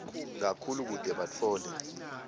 kakhulu kute batfole